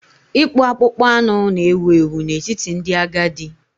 Ịkpụ akpụkpọ anụ na-ewu ewu n'etiti ndị agadi.